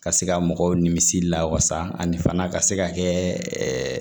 Ka se ka mɔgɔw nimisi la wasa ani fana ka se ka kɛ